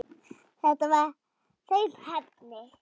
Já, þetta var hrein heppni.